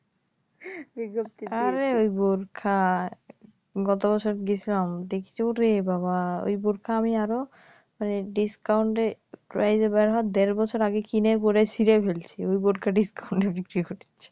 আরে ঐ বোরখা গত বছর গেছিলাম দেখি ওরে বাবা ঐ বোরখা আমি আরও মানে ডিস্কাউন্ট প্রাইজে বের হওয়ার দেড় বছর আগে কিনে পড়ে ছিড়ে ফেলছি ঐ বোরখা ডিস্কাউন্টে বিক্রি করে